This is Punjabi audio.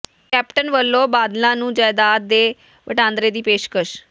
ਕੈਪਟਨ ਵੱਲੋਂ ਬਾਦਲਾਂ ਨੂੰ ਜਾਇਦਾਦ ਦੇ ਵਟਾਂਦਰੇ ਦੀ ਪੇਸ਼ਕਸ਼